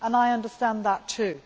I understand that too.